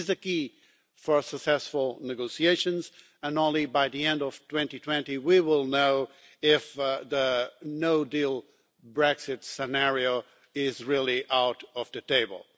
This is the key for successful negotiations, and only by the end of 2020 will we know if the no deal' Brexit scenario is really off the table.